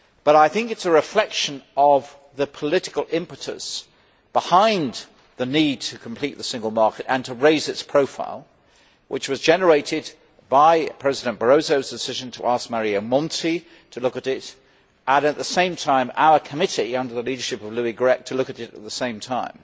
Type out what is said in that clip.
I think it is a reflection of the political impetus behind the need to complete the single market and to raise its profile which was generated by President Barroso's decision to ask Mario Monti to look at it, and to ask our committee, under the leadership of Louis Grech, to look at it at the same time.